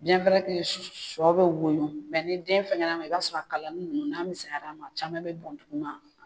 sɔ bɛ woyo mɛ ni kɛnɛyaso fɛnkɛn'a mɔ i b'a sɔrɔ a kalani ninnu n'a ka misɛn mais caman bɛ bɔn dugu ma.